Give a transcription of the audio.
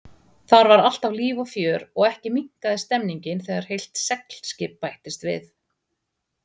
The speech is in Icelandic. Þar var alltaf líf og fjör og ekki minnkaði stemmningin þegar heilt seglskip bættist við.